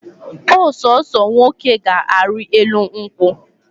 Ọsọsọ nwoke ga ari elu nkwu